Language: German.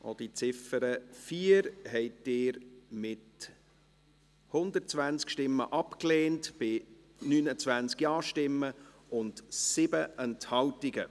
Auch die Ziffer 4 haben Sie abgelehnt, mit 120 Stimmen, bei 29 Ja-Stimmen und 7 Enthaltungen.